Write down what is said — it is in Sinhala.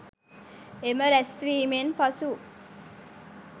එම රැස්වීමෙන් පසු